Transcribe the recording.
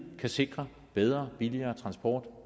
kan sikre bedre og billigere transport